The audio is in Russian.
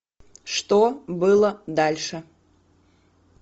что было дальше